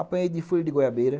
Apanhei de folha de goiabeira.